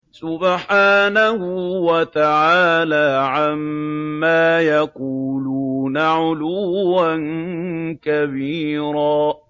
سُبْحَانَهُ وَتَعَالَىٰ عَمَّا يَقُولُونَ عُلُوًّا كَبِيرًا